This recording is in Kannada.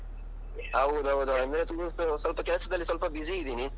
ಹೌದೌದು, ಅಂದ್ರೆ ತುಂಬಾ ಸ್ವಲ್ಪ ಕೆಲ್ಸದಲ್ಲಿ ಸ್ವಲ್ಪ busy ಇದ್ದೀನಿ.